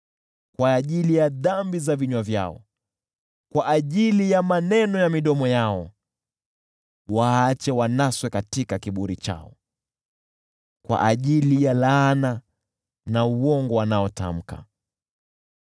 Kwa ajili ya dhambi za vinywa vyao, kwa ajili ya maneno ya midomo yao, waache wanaswe katika kiburi chao. Kwa ajili ya laana na uongo wanaotamka,